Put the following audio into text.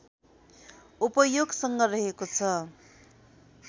उपयोगसँग रहेको छ